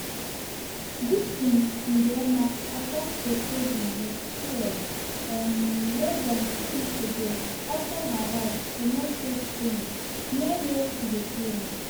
dickson ndiema attack cheptegei wit fuel um less um dan two weeks ago outside her house for north-west kenya near wia she dey train.